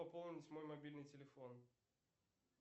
пополнить мой мобильный телефон